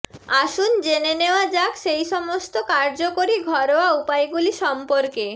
আসুন জেনে নেওয়া যাক সেই সমস্ত কার্যকরী ঘরোয়া উপায়গুলি সম্পর্কে